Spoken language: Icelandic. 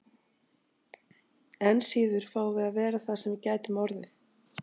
Enn síður fáum við að vera það sem við gætum orðið.